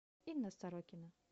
инна сорокина